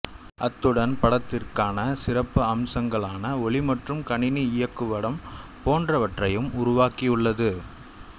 அத்துடன் படத்திற்கான சிறப்பு அம்சங்களான ஒலி மற்றும் கணினி இயங்குபடம் போன்றவற்றையும் உருவாகியுள்ளது